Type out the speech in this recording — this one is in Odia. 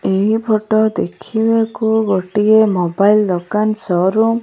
ଏହି ଫଟ ଦେଖିବାକୁ ଗୋଟିଏ ମୋବାଇଲ ଦୋକାନ ସୋରୁମ୍ ।